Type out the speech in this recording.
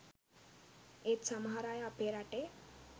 ඒත් සමහර අය අපේ රටේ